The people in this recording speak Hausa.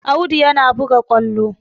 Audu yana buga ƙwallo